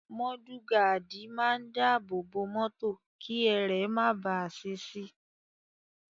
Mọ́dù gaádì máa ń dábòòbò mọ́tò kí ẹrẹ̀ máa bàá ṣe si.